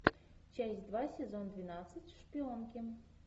часть два сезон двенадцать шпионки